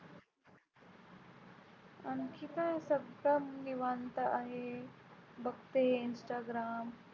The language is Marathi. आणखी काय फक्त निवांत आहे, बघते आहे Instagram.